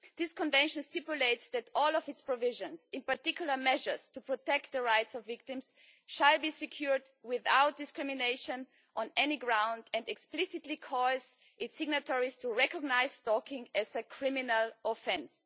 The Convention stipulates that all of its provisions, in particular, measures to protect the rights of victims, shall be secured without discrimination on any ground and it explicitly ensures that its signatories to recognise stalking as a criminal offense.